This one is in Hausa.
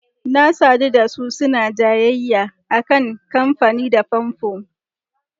Na sadu da su suna jayayya a kan amfani da famfo.